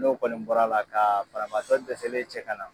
N'o kɔni bɔr'la kaa barabaatɔ dɛsɛlen cɛ kana